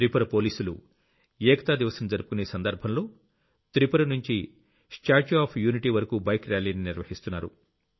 త్రిపుర పోలీసులు ఏకతా దివస్ ని జరుపుకునే సందర్భంలో త్రిపుర నుంచి స్టాచ్యూ ఆఫ్ యూనిటీ వరకూ బైక్ ర్యాలీని నిర్వహిస్తున్నారు